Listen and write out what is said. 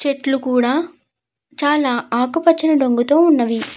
చెట్లు కూడా చాల ఆకుపచ్చని రంగుతో ఉన్నవి.